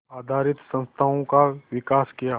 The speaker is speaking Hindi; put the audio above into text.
आधारित संस्थाओं का विकास किया